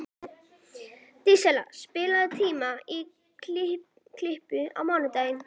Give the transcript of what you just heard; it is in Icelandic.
Dísella, pantaðu tíma í klippingu á mánudaginn.